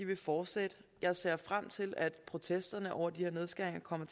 vil fortsætte jeg ser frem til at protesterne over de her nedskæringer kommer